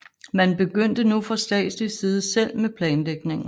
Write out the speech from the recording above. Man begyndte nu fra statslig side selv med planlægningen